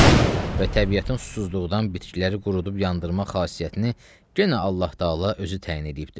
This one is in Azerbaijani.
Və təbiətin susuzluqdan bitkiləri qurudub yandırmaq xasiyyətini yenə Allah-Təala özü təyin eləyibdi.